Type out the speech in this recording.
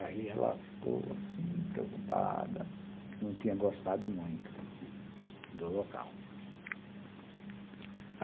Aí ela ficou assim, preocupada, que não tinha gostado muito do local.